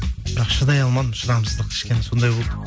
бірақ шыдай алмадым шыдамсыздық кішкене сондай болды